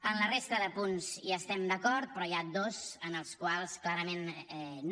en la resta de punts hi estem d’acord però n’hi ha dos en els quals clarament no